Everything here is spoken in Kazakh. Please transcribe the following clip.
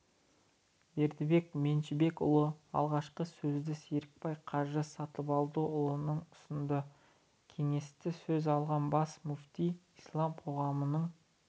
бердібек машбекұлы алғашқы сөзді серікбай қажы сатыбалдыұлына ұсынды кеңесте сөз алған бас мүфти ислам қоғамның